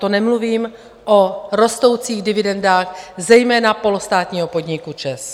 To nemluvím o rostoucích dividendách, zejména polostátního podniku ČEZ.